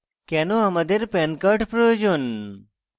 কেনো আমাদের pan card প্রয়োজন